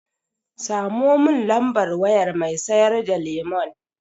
Samo mun lambar wayar mai sayar da lemon.